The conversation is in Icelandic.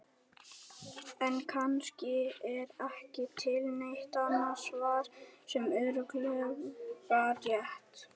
En kannski er ekki til neitt annað svar sem er örugglega rétt.